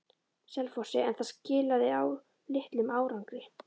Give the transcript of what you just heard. Selfossi, en það skilaði litlum árangri.